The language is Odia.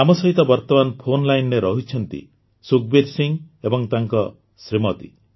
ଆମ ସହିତ ବର୍ତମାନ ଫୋନ୍ ଲାଇନ୍ରେ ରହିଛନ୍ତି ସୁଖବୀର ସିଂ ଏବଂ ତାଙ୍କ ଶ୍ରୀମତି